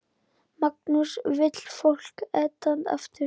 Magnús: Vill fólk Eden aftur?